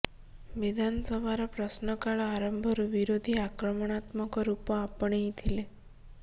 ବିଧାନସଭାର ପ୍ରଶ୍ନକାଳ ଆରମ୍ଭରୁ ବିରୋଧୀ ଆକ୍ରାମଣାତ୍ମକ ରୂପ ଆପଣେଇ ଥିଲେ